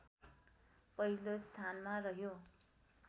पहिलो स्थानमा रह्यो